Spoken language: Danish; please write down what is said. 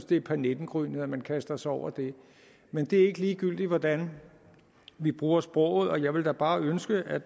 det er pernippengrynet at man kaster sig over det men det er ikke ligegyldigt hvordan vi bruger sproget og jeg vil da bare ønske at